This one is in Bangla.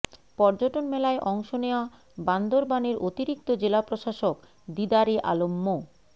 পর্যটন মেলায় অংশ নেওয়া বান্দরবানের অতিরিক্ত জেলা প্রশাসক দিদারে আলম মো